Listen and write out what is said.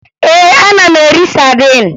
Ee, ana m eri sadin